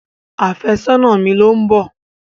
Àfẹ́sọ́nà mi ló ń bọ̀.